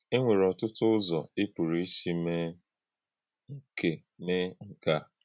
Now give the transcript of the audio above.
È nwèré ọ̀tụ́tụ̀ ụzọ̀ ị̀ pụrụ ísì mee nke mee nke a.